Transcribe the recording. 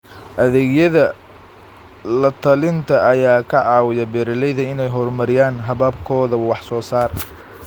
Adeegyada la-talinta ayaa ka caawiya beeralayda inay horumariyaan hababkooda wax-soo-saar.